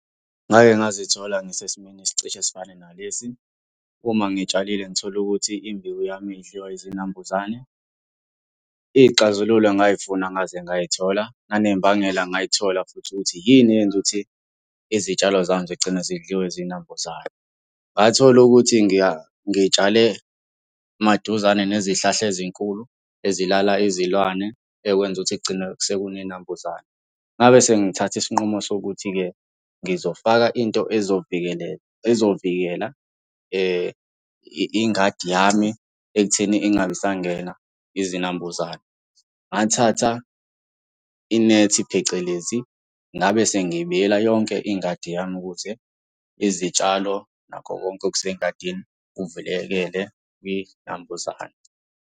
Ngake ngazithola ngisesimeni esicishe sifane nalesi. Uma ngitshalile ngithole ukuthi imbewu yami idliwa izinambuzane. Iy'xazululo ngay'funa ngaze ngay'thola, nanembangela ngayithola futhi ukuthi yini eyenza ukuthi izitshalo zami zigcine zidliwe zinambuzane. Ngathola ukuthi ngitshale maduzane nezihlahla ezinkulu, ezilala izilwane, ekwenza ukuthi kugcine sekune y'nambuzane. Ngabe sengithatha isinqumo sokuthi-ke, ngizofaka into ezovikelelela, ezovikela ingadi yami ekutheni ingabe isangena izinambuzane. Ngathatha inethi phecelezi ngabe sengibiyela yonke ingadi yami ukuze izitshalo nakho konke okusengadini kuvulekele iy'nambuzane.